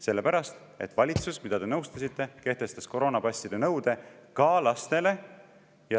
Sellepärast, et valitsus, mida te nõustasite, kehtestas koroonapasside nõude ka lastele.